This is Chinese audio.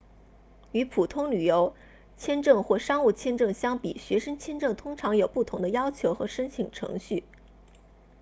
与普通旅游签证或商务签证相比学生签证通常有不同的要求和申请程序